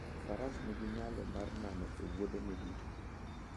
Faras nigi nyalo mar nano e wuodhene duto.